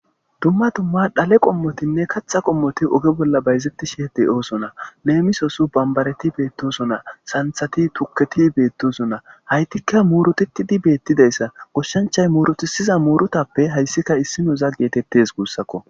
Dumma dumma dhale qommotinne kaththa qommoti oge bolla bayzetishe de'osona.lemissos banbaretti bettosona santhati tuuketi bettosona. Hayttika muruttitidi bettidayssa goshshanchay muruttisiza murutape hayssi issinoza gettetes gussako.